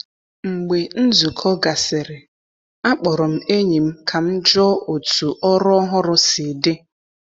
Mgbe nzukọ gasịrị, akpọrọ m enyi m ka m jụọ otu ọrụ ọhụrụ si dị.